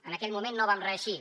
en aquell moment no vam reeixir